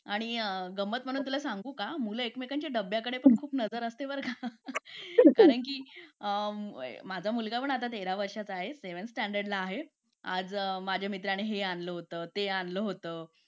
आणि गंमत म्हणून तुला सांगू का मुले एकमेकांच्या डब्याकडे खूप नजर असते बर का आणि ही माझा मुलगा पण आता तेरा वर्षाचा आहे सेवेन स्टॅंडर्ड ला आहे आज माझ्या मित्रांनी हे आणलं होतं ते आणलं होतं